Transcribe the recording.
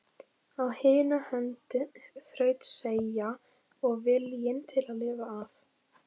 Á hina hönd þrautseigja og viljinn til að lifa af.